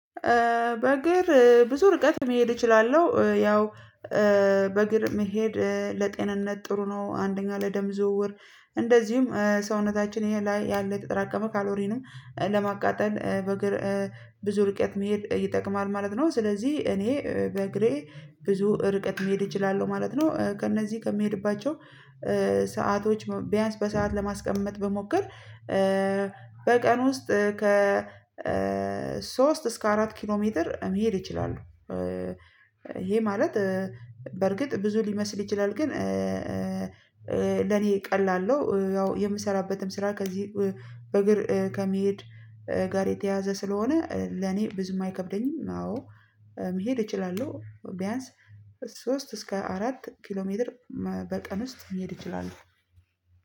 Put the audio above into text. በእግር ብዙ ርቀት መሄድ እችላለሁ ያው በእግር መሄድ ለጤንነት ጥሩ ነው። አንደኛ ለደም ዝውውር እንደዚሁም ሰውነታችን ይሄ ላይ ያለ የተጠራቀመ ካሎሪንም ለማቃጠል በእግር ብዙ ርቀት መሄድ ይጠቅማል ማለት ነው። ስለዚህ እኔ በእግሬ ብዙ ርቀት መሄድ እችላለሁ ማለት ነው። ከእነዚህ ከምሄድባቸው ሰአቶች ቢያንስ በሰአት ለማስቀመጥ በሞከር በቀን ውስጥ ከ ሶስት እስከ አራት ኪሎ ሜትር መሄድ እችላለሁ። ይሄ ማለት በርግጥ ብዙ ሊመስል ይችላል ግን ለኔ ቀላል ነው። ያው የምሰራበትም ስራ ከዚህ በእግር ከመሄድ ጋር የተያዘ ስለሆነ ለኔ ብዙም አይከብደኝም። አዎ መሄድ እችላለሁ። ቢያንስ ሶስት እስከ አራት ኪሎ ሜትር በቀን ውስጥ መሄድ ይችላል።